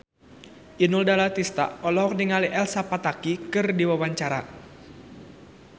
Inul Daratista olohok ningali Elsa Pataky keur diwawancara